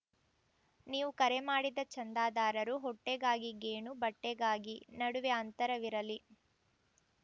ನೀವು ಕರೆ ಮಾಡಿದ ಚಂದದಾರರು ಹೊಟ್ಟೆಗಾಗಿ ಗೇಣು ಬಟ್ಟೆಗಾಗಿ ನಡುವೆ ಅಂತರವಿರಲಿ